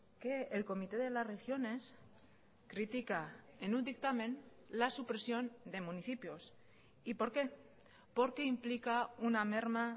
que el comité de las regiones critica en un dictamen la supresión de municipios y por qué porque implica una merma